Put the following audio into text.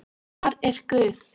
Hvað er guð?